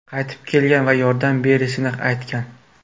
qaytib kelgan va yordam berishini aytgan.